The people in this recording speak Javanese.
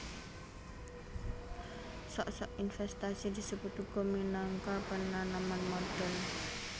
Sok sok invèstasi disebut uga minangka penanaman modhal